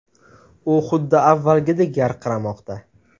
U xuddi avvalgidek yarqiramoqda”.